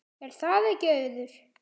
Er það ekki Auður?